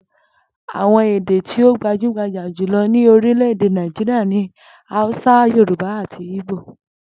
Àwo̩n èdè tí ó gbajúgbajà jùlo̩ ní orílè̩-èdè Naijiria ni Hausa, Yorùbá àti Igbo